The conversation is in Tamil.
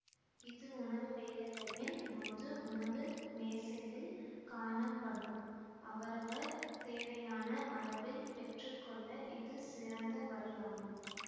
இது உணவு வேலளையின் போது உணவு மேசையில் காணப்படும் அவரவர் தேவையான அளவில் பெற்று கொள்ள இது சிறந்த வழி ஆகும்